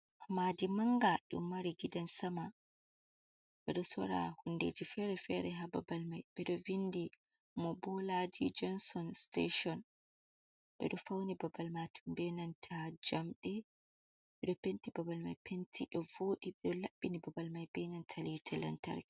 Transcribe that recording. Madi manga ɗum mari gidan sama ɓeɗo sora hundeji fere fere ha babal mai ɓeɗo vindi mo bolaji jonson steshon, ɓeɗo fauni babal majum benanta jamɗe ɓeɗo penti babal mai penti ɗovodi ɓeɗo laɓɓini babal mai benanta lite lantarki.